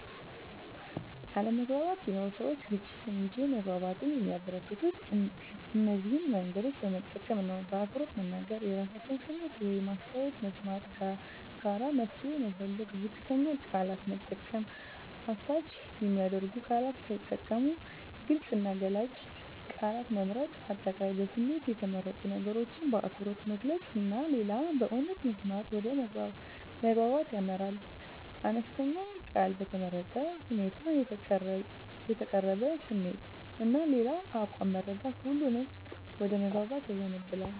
አለመግባባት ቢኖርም፣ ሰዎች ግጭትን እንጂ መግባባትን የሚያበረከቱት እነዚህን መንገዶች በመጠቀም ነው በአክብሮት መናገር – የራሳቸውን ስሜት ወይም አስተያየት መስማት ጋራ መፍትሄ መፈለግ ዝቅተኛ ቃላት መጠቀም – አሳች የሚያደርጉ ቃላት ሳይጠቀሙ ግልጽ እና ገላጭ ቃላት መምረጥ። አጠቃላይ በስሜት የተመረጡ ነገሮችን በአክብሮት መግለጽ እና ሌላውን በእውነት መስማት ወደ መግባባት ያመራል። አነስተኛ ቃል በተመረጠ ሁኔታ የተቀረበ ስሜት እና የሌላው አቋም መረዳት ሁሉንም ወደ መግባባት ያዘንባል።